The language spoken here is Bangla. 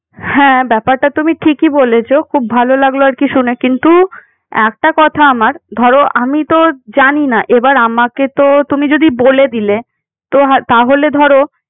হ্যাঁ, ব্যাপারটা তুমি ঠিকই বলেছ। খুব ভালো লাগলো আর কি শুনে। কিন্তু একটা কথা আমার, ধরো আমি তো জানি না। এবার আমাকে তো তুমি যদি বলে দিলে। তো তাহলে ধরো